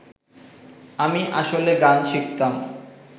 আমি আসলে গান শিখতাম